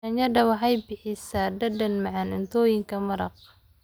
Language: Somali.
Yaanyada waxay bixisaa dhadhan macaan cuntooyinka maraq.